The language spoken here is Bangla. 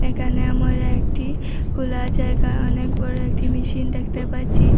একানে আমোরা একটি কোলা জায়গা অনেক বড় একটি মেশিন দেখতে পাচ্ছি।